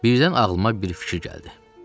Birdən ağlıma bir fikir gəldi.